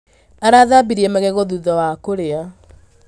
Arathambirie magego thutha wa kũrĩa